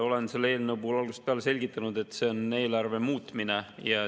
Olen selle eelnõu puhul algusest peale selgitanud, et see on eelarve muutmine.